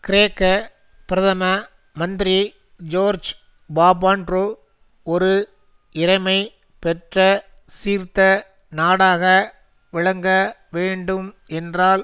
கிரேக்க பிரதம மந்திரி ஜோர்ஜ் பாபாண்ட்ரூ ஒரு இறைமை பெற்ற சீர்த்த நாடாக விளங்க வேண்டும் என்றால்